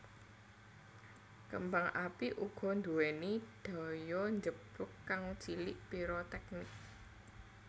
Kembang api uga nduwéni daya njeblug kang cilik piroteknik